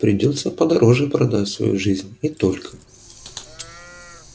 придётся подороже продать свою жизнь и только